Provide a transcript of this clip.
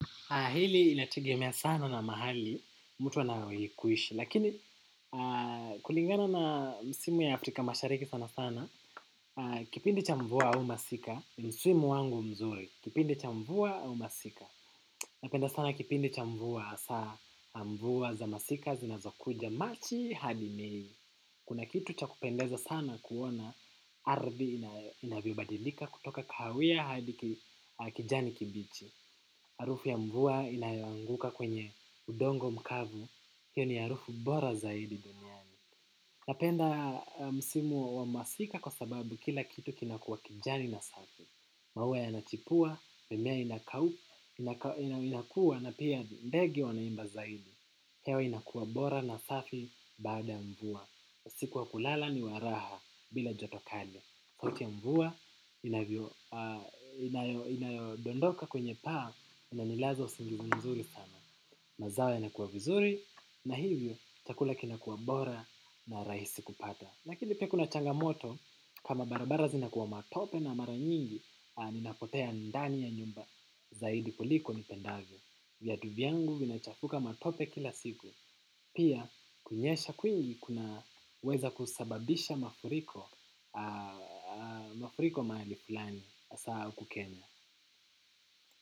Hili inatigemea sana na mahali, mtu wanawekuishi. Lakini kulingana na misimu ya afrika mashariki sana sana. Kipindi cha mvua au masika, msimu wangu mzuri. Kipindi cha mvua au masika. Napenda sana kipindi cha mvua hasaa, mvua za masika zinazokuja. Machi hadi mei. Kuna kitu cha kupendeza sana kuona ardhi inavyobadilika kutoka kahawia hadi kijani kibichi. Harufu ya mvua inayoanguka kwenye udongo mkavu, hiyo ni harufu bora zaidi duniani. Napenda msimu wa masika kwa sababu kila kitu kinakua kijani na safi. Mauwa yanachipua, mimea inakua na pia ndege wanaimba zaidi. Hewa inakuwa bora na safi baada mvua. Usiku wa kulala ni waraha bila jotokali. Sautii ya mvua, inayodondoka kwenye paa, inanilaza usingizi mzuri sana. Mazao yanakua vizuri, na hivyo, chakula kinakuwa bora na rahisi kupata. Lakini pia kuna changamoto, kama barabara zinakuwa matope na maranyingi, ninapotea ndani ya nyumba, zaidi koliko nipendavyo. Viatu vyangu vinachafuka matope kila siku. Pia kunyesha kwiungi kuna weza kusababisha mafuriko mahalifulani hasaa huku kenya.